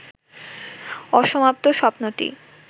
অসমাপ্ত স্বপ্নটি